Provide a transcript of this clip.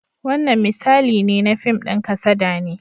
Wannan misali ne na fim ɗin kasada ne.